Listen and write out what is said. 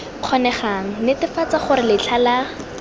kgonegang netefatsa gore letlha la